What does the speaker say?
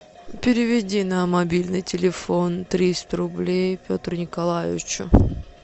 переведи на мобильный телефон триста рублей петру николаевичу